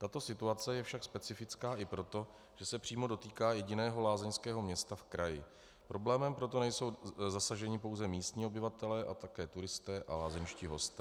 Tato situace je však specifická i proto, že se přímo dotýká jediného lázeňského města v kraji, problémem proto nejsou zasaženi pouze místní obyvatelé a také turisté a lázeňští hosté.